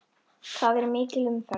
Þar er mikil umferð.